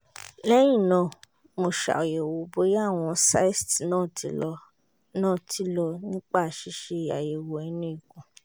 lẹ́yìn náà mo ṣàyẹ̀wò bóyá àwọn cysts náà ti lọ náà ti lọ nípa ṣíṣe àyẹ̀wò inú ikùn